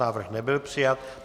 Návrh nebyl přijat.